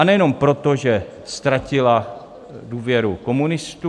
A nejenom proto, že ztratila důvěru komunistů.